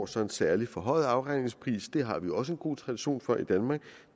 så en særlig forhøjet afregningspris det har vi også en god tradition for i danmark